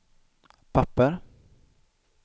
papper